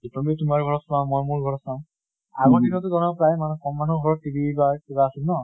তুমি তোমাৰ ঘৰত চোৱা, মৈ মোৰ ঘৰত চাওঁ। আগৰ দিন টো ধৰা প্ৰায় মানুহৰ ঘৰত কম মানুহৰ ঘৰত TV বা কিবা আছিল ন?